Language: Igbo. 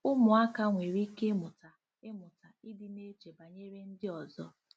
Ụmụaka nwere ike ịmụta ịmụta ịdị na-eche banyere ndị ọzọ